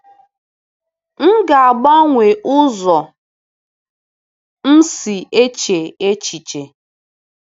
“M ga-agbanwe ụzọ m si eche echiche,”